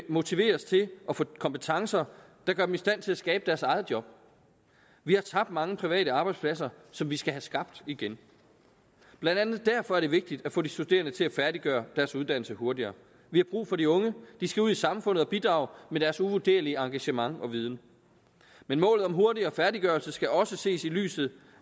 motiveres til at få kompetencer der gør dem i stand til at skabe deres eget job vi har tabt mange private arbejdspladser som vi skal have skabt igen blandt andet derfor er det vigtigt at få de studerende til at færdiggøre deres uddannelse hurtigere vi har brug for de unge de skal ud i samfundet og bidrage med deres uvurderlige engagement og viden men målet om hurtigere færdiggørelse skal også ses i lyset